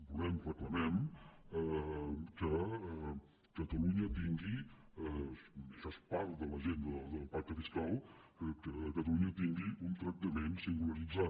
volem reclamem que catalunya tingui això és part de l’agenda del pacte fiscal un tractament singularitzat